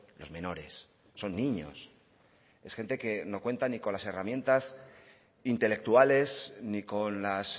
los menores son niños es gente que no cuenta ni con las herramientas intelectuales ni con las